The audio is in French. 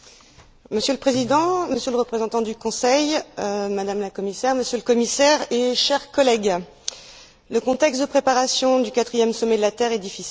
Monsieur le Président, Monsieur le Représentant du Conseil, Madame la Commissaire, Monsieur le Commissaire et chers collègues, le contexte de préparation du quatrième Sommet de la Terre est difficile.